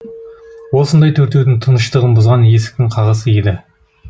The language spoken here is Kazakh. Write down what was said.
осындай төртеудің тыныштығын бұзған есіктің қағысы еді